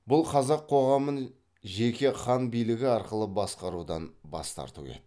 бұл қазақ коғамын жеке хан билігі арқылы басқарудан бас тарту еді